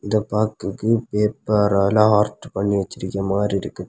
இதை பாக்குறதுக்கு பேப்பரால ஹார்ட் பண்ணி வச்சிருக்க மாதிரி இருக்குது.